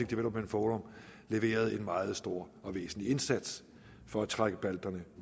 development forum leverede en meget stor og væsentlig indsats for at trække balterne